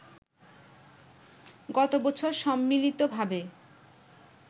গত বছর সম্মিলিতভাবে